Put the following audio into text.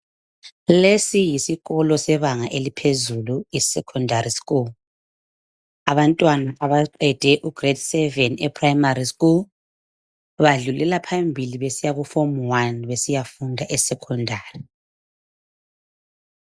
Lesi yisikolo sebanga eliphezulu abantwana abaqede isikolo sebanga eliphezulu ugrade7 eprimary school badlulela phambili besiya kuform 1 besiyafunda esocondary.